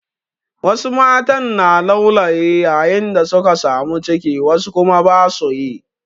Wasu matan na laulayi yayin da suka samu ciki wasu kuma ba su yi.